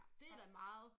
Det da meget